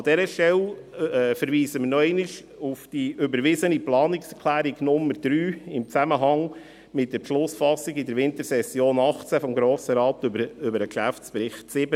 An dieser Stelle verweisen wir nochmals auf die überwiesene Planungserklärung Nummer 3 in Zusammenhang mit der Beschlussfassung in der Wintersession 2018 des Grossen Rates über den Geschäftsbericht 2017.